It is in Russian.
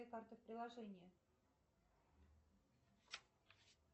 карты в приложении